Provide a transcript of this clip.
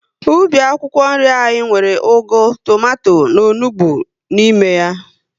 Ubi akwụkwọ nri anyị nwere ugu, tomato na onugbu n'ime ya